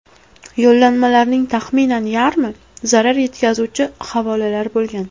Yo‘llanmalarning taxminan yarmi zarar yetkazuvchi havolalar bo‘lgan.